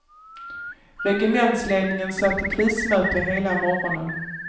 Regementsledningen satt i krismöte hela morgonen.